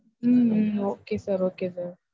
Hmm hmm okay sir okay sir.